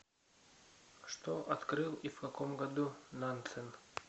что открыл и в каком году нансен